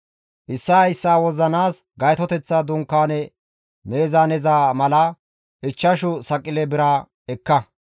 Issaa issaa wozzanaas Gaytoteththa Dunkaane meezaaneza mala ichchashu Saqile bira ekka;